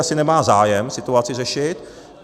Asi nemá zájem situaci řešit.